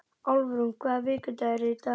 Álfrún, hvaða vikudagur er í dag?